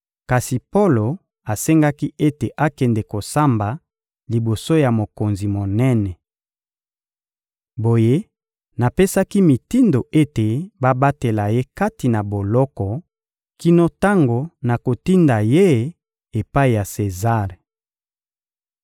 Kasi Polo asengaki ete akende kosamba liboso ya mokonzi monene. Boye, napesaki mitindo ete babatela ye kati na boloko kino tango nakotinda ye epai ya Sezare.